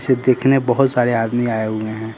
से देखने बहोत सारे आदमी आए हुए हैं।